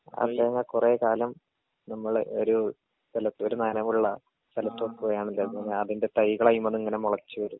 ആ തേങ്ങ കൊറേ കാലം നമ്മളെ ഒരു സ്ഥലത്ത് ഒരു നനവുള്ള സ്ഥലത്ത് വെക്കുകയാണ് അതിന്റെ തൈകളതിമ്മന്നിങ്ങനെ മൊളച്ച് വെരും.